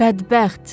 Bədbəxt.